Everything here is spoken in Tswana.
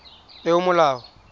peomolao